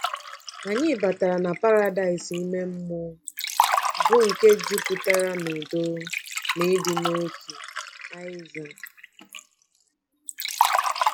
Anyị batara na paradaịs ime mmụọ, bụ́ nke jupụtara n'udo na ịdị n'otu. — Aịza.